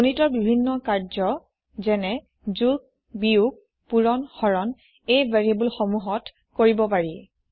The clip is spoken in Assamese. গণিতৰ বিভিন্ন কাৰ্যযেন যোগ বিয়োগ পুৰণ হৰণ এই ভেৰিয়েবোল সমূহত কৰিব পাৰি